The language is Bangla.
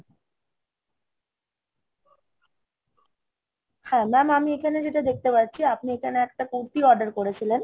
হ্যা mam আমি এইখানে যেটা দেখতে পাচ্ছি, আপনি এইখানে একটা কুর্তি order করেছিলেন